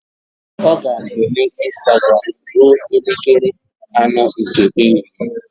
Ọ ga-eme Ịnstagram ruo elekere anọ nke ehihie